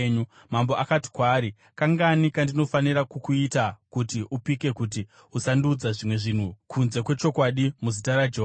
Mambo akati kwaari, “Kangani kandinofanira kukuita kuti upike kuti usandiudza zvimwe zvinhu kunze kwechokwadi muzita raJehovha?”